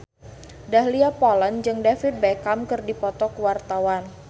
Dahlia Poland jeung David Beckham keur dipoto ku wartawan